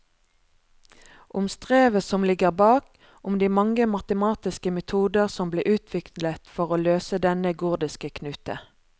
Om strevet som ligger bak, om de mange matematiske metoder som ble utviklet for å løse denne gordiske knute.